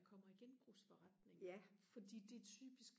kommer i genbrugsforretninger fordi det er typisk